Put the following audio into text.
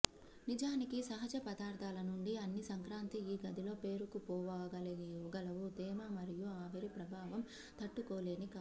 నిజానికి సహజ పదార్ధాల నుండి అన్ని సంక్రాంతి ఈ గదిలో పేరుకుపోగలవు తేమ మరియు ఆవిరి ప్రభావం తట్టుకోలేని కాదు